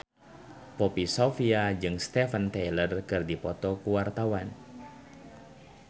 Poppy Sovia jeung Steven Tyler keur dipoto ku wartawan